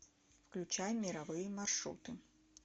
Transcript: включай мировые маршруты